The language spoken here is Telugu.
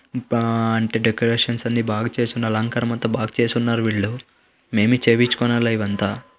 ఆ అంటే డెకొరేషన్స్ అన్ని బాగా చేసి ఉన్న అలంకారము అంత బాగా చేసున్నారు వీళ్ళు. మే బీ చేపిచ్కొనలే ఇవంతా.